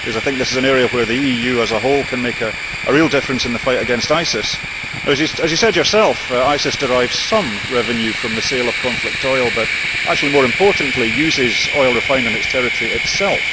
because I think this is an area where the EU as a whole can make a real difference in the fight against ISIS. As you said yourself, ISIS derives some revenue from the sale of conflict oil but actually, more importantly, uses oil refineries in its territory itself.